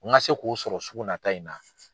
Ŋa se k'o sɔrɔ sugu nata in na.